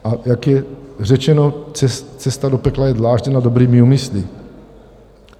A jak je řečeno, cesta do pekla je dlážděna dobrými úmysly.